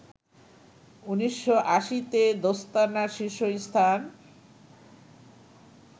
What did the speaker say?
১৯৮০ তে দোস্তানা শীর্ষ স্থান